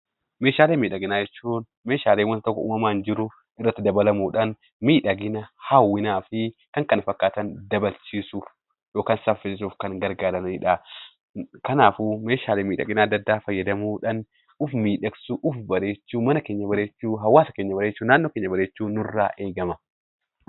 Meeshaalee miidhaginaa jechuun Meeshaalee waanta uumamaan jiru, miidhagina , jawwinaa fi kan kana fakkaatan dabalchiisuuf yookaan saffisiisuuf kan gargaaranidha. Kanaafuu Meeshaalee miidhaginaa addaa addaa fayyadamuudhaan of miidhagsuu, of bareechuu , hawaasa keenya bareechuu, naannoo keenya bareechuun nurraa eegama.